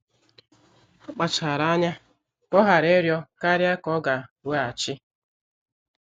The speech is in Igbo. Ọ kpachara anya ka ọ ghara ịrịọ karịa ka ọ ga-weghachi